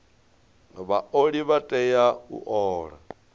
vhaoli vha tea u ola